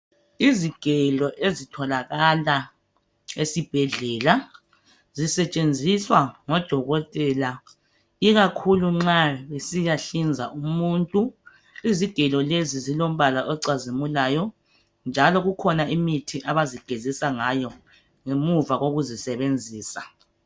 Izigelo ezitholakala esibhedlela zisetshenziswa ngodokotela ikakhulu nxa besiyahlinza umuntu izigelo lezi zilombala ocazimulayo njalo kukhona imithi abazigezisa ngayo ngemuva kokuzisebenzisa.